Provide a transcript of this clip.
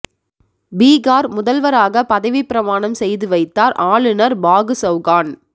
பீகார் முதல்வராக பதவிப் பிரமாணம் செய்து வைத்தார் ஆளுநர் பாகு சவுகான்